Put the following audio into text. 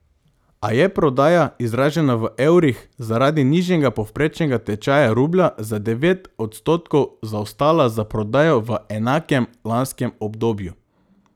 A je prodaja, izražena v evrih, zaradi nižjega povprečnega tečaja rublja za devet odstotkov zaostala za prodajo v enakem lanskem obdobju.